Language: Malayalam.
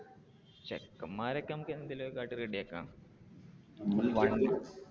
ചെക്കന്മാരെ ഒക്കെ നമ്മക്ക് എന്തേലും ഒക്കെ കാട്ടി ready ആക്കാം.